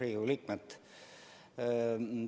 Riigikogu liikmed!